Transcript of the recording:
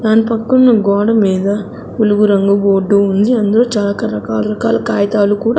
దాని పక్కనున్న గోడ మీద ఉలుగు రంగు బోర్డు ఉంది అందులో చాలా రకా రకా రకాల కాయితాలు కూడా.